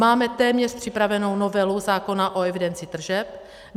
Máme téměř připravenu novelu zákona o evidenci tržeb.